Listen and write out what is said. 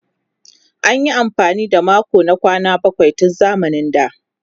An yi amfani da makon na kwana bakwai tun zamanin da.